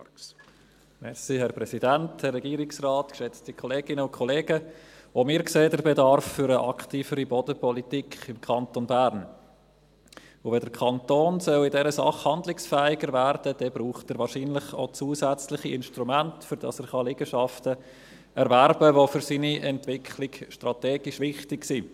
Auch wir sehen den Bedarf für eine aktivere Bodenpolitik im Kanton Bern, und wenn der Kanton in dieser Sache handlungsfähiger werden soll, dann braucht er wahrscheinlich auch zusätzliche Instrumente, damit er Liegenschaften erwerben kann, die für seine Entwicklung strategisch wichtig sind.